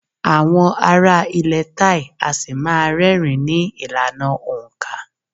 Àwọn ará ilẹ̀ Thai a ṣì má́a rẹ́rìn-ín ní ìlànà òǹkà.